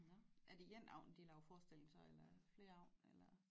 Nåh er det én aften de laver forestilling så eller flere aften eller